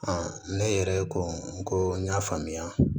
ne yɛrɛ ko n ko n y'a faamuya